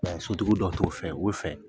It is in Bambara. Sotuguw dɔw t' o fɛ o fɛ.